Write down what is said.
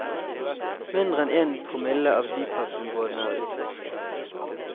Mindre enn én promille av dyphavsområdene er utforsket.